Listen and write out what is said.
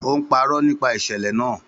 Ó ń parọ́ nípa ìṣẹ̀lẹ̀ náà